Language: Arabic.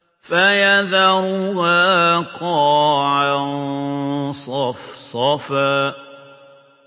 فَيَذَرُهَا قَاعًا صَفْصَفًا